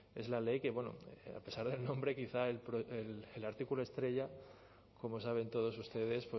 es la ley que a pesar del nombre quizá el artículo estrella como saben todos ustedes